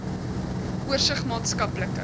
oorsig maatskaplike